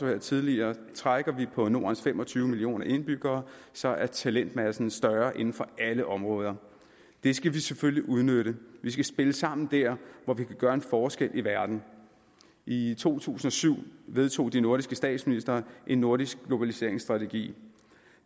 hørt tidligere trækker vi på nordens fem og tyve millioner indbyggere så er talentmassen større inden for alle områder det skal vi selvfølgelig udnytte vi skal spille sammen der hvor vi kan gøre en forskel i verden i to tusind og syv vedtog de nordiske statsministre en nordisk globaliseringsstrategi